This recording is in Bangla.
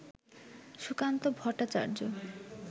সুকান্ত ভট্টাচার্য